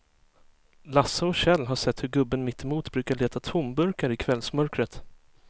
Lasse och Kjell har sett hur gubben mittemot brukar leta tomburkar i kvällsmörkret.